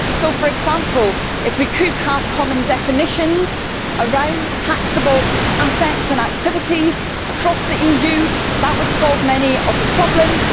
So if, for example, we could have common definitions around taxable assets and activities across the EU, that would solve many of the problems.